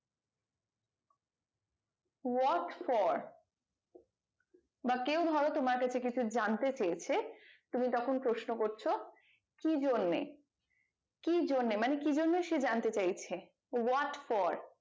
what for বা কেউ ধরো তোমার কাছে কিছু জানতে চেয়েছে তুমি তখন প্রশ্ন করছো কি জন্যে কি জন্যে মানে কি জন্যে সে জানতে চেয়েছে what for